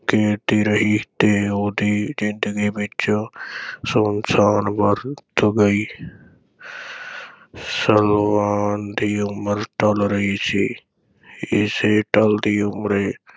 ਕੇਰਦੀ ਰਹੀ ਤੇ ਉਹਦੀ ਜ਼ਿੰਦਗੀ ਵਿਚ ਸੁੰਨਸਾਨ ਵਰਤ ਗਈ ਸਲਵਾਨ ਦੀ ਉਮਰ ਢਲ ਰਹੀ ਸੀ, ਇਸੇ ਢਲਦੀ ਉਮਰੇ